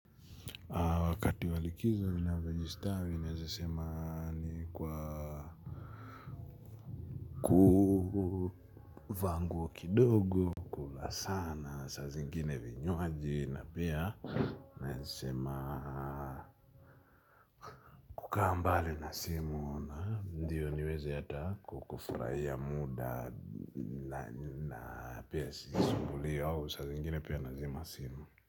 Wakati wa likizo vinavyojistawi vinaezasema ni kwa kuvaa nguo kidogo kula sana saa zingine vinywaaji na pia naezasema kukaa mbali na simu ndiyo niweze hata kukufurahia muda na pia sisumbulio au saa zingine pia nazima simu.